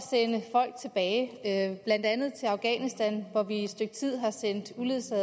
folk tilbage blandt andet til afghanistan hvor vi i et stykke tid har sendt